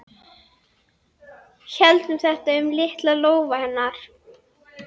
Héldum þétt um litla lófa hennar.